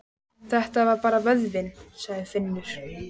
Þetta er bara vöðvinn, sagði Finnur.